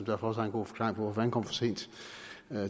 derfor også har en god forklaring på at han kom for sent